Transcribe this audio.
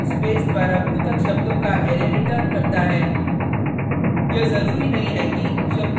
qw function space द्वारा पृथक शब्दों का अरै रिटर्न करता है